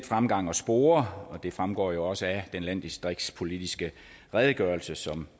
fremgang at spore og det fremgår jo også af den landdistriktspolitiske redegørelse som